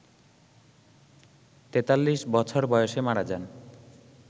৪৩ বছর বয়সে মারা যান